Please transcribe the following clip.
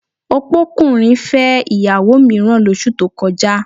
Opókùnrin fẹ́ ìyàwó mìíràn lóṣù tó kọjá